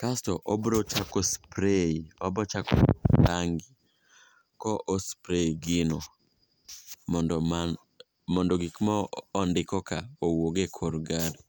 kasto obro chako [spray obochako rangi ko ospray gino mondo gik mondikoka owuog e kor gari.